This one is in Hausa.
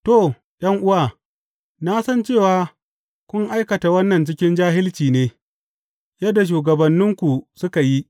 To, ’yan’uwa, na san cewa, kun aikata wannan cikin jahilci ne, yadda shugabanninku suka yi.